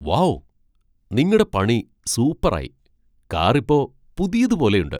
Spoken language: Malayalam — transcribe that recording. വൗ ! നിങ്ങടെ പണി സൂപ്പറായി. കാർ ഇപ്പോ പുതിയതു പോലെയുണ്ട് !